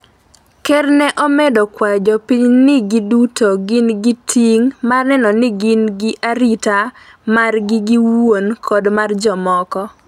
ker ne omedo kwayo jopiny ni gi duto gin gi ting’ mar neno ni gin gi arita margi giowuon kod mar jomoko.